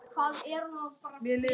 Megið þið hvíla í friði.